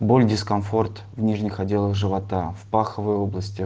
боль дискомфорт в нижних отделах живота в паховой области